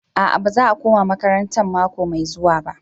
A'a baza a koma makarantan mako mai zuwa ba.